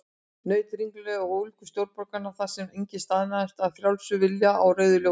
Naut ringulreiðar og ólgu stórborgarinnar, þar sem enginn staðnæmist af frjálsum vilja á rauðu ljósi.